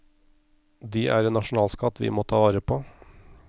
De er en nasjonalskatt vi må ta vare på.